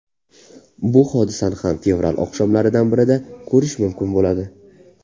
Bu hodisani ham fevral oqshomlaridan birida ko‘rish mumkin bo‘ladi.